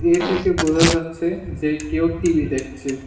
এ থেকে বোঝা যাচ্ছে যে কেউ টি_ভি দেখছে।